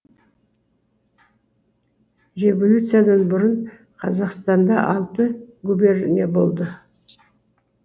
революциядан бұрын қазақстанда алты губерния болды